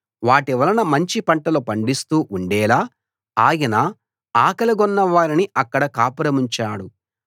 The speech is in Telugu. వాటివలన మంచి పంటలు పండిస్తూ ఉండేలా ఆయన ఆకలిగొన్న వారిని అక్కడ కాపురముంచాడు